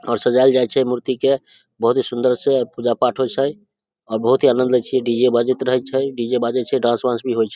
और सजाइल जाए छे मूर्ति के बहुत ही सुंदर से पूजा-पाठ होए छे और बहुत ही आनंद ले छिए डी.जे. बजीत रहे छै डी.जे. बाजे छै डांस उन्स भी होए छे।